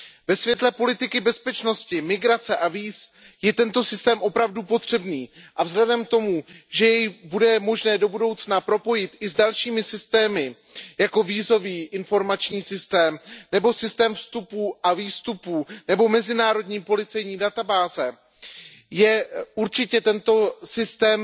Ve světle politiky bezpečnosti, migrace a víz je tento systém opravdu potřebný a vzhledem k tomu, že jej bude možné do budoucna propojit i s dalšími systémy, jako jsou vízový a informační systém nebo systém vstupů a výstupů nebo mezinárodní policejní databáze, je určitě tento systém